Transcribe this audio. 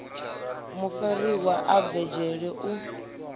mufariwa a bve dzhele u